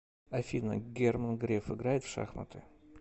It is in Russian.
афина герман греф играет в шахматы